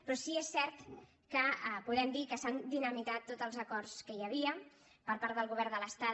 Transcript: però sí que és cert que podem dir que s’han dinami·tat tots els acords que hi havia per part del govern de l’estat